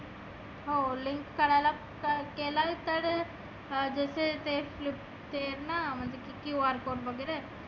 हो link करायला जर केला तर अं जसं ते flip ते आहे ना म्हणजे